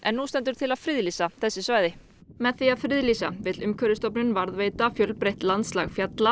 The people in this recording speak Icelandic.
nú stendur til að friðlýsa þessi svæði með því að friðlýsa vill Umhverfisstofnun varðveita fjölbreytt landslag fjalla